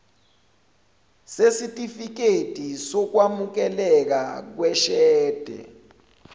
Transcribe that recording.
sesitifikedi sokwamukeleka kweshede